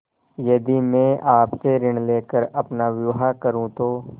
यदि मैं आपसे ऋण ले कर अपना विवाह करुँ तो